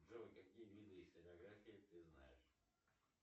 джой какие виды стенографии ты знаешь